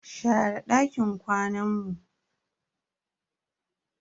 Share dakin kwanan mu.